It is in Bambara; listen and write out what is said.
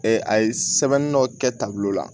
a ye sɛbɛnni dɔ kɛ taabolo la